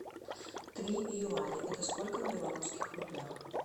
три юаня это сколько в белорусских рублях